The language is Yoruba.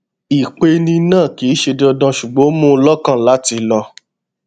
ìpeni náà kì í ṣe dandan ṣùgbọn ó mú un lọkàn láti lọ